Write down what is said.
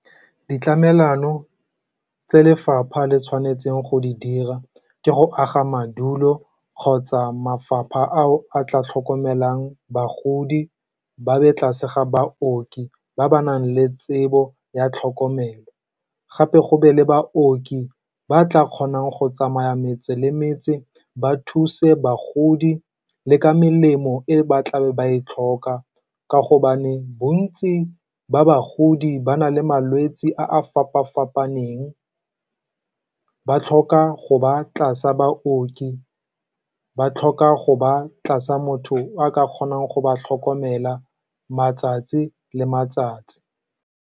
Ditlamelano tse lefapha le tshwanetseng go di dira ke go aga madulo kgotsa mafapha ao a tla tlhokomelang bagodi, ba be tlase ga baoki ba ba nang le tsebo ya tlhokomelo. Gape go be le baoki ba tla kgonang go tsamaya metse le metse ba thuse bagodi le ka melemo e ba tla be ba e tlhoka, ka gobane bontsi ba bagodi ba na le malwetse a a fapa-fapaneng. Ba tlhoka go ba tlase ga baoki, ba tlhoka go ba tlase ga motho a ka kgonang go ba tlhokomela, matsatsi le matsatsi.